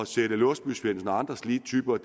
sætte låsby svendsen og andre slige typer